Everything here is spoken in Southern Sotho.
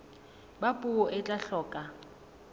ba puo e tla hloka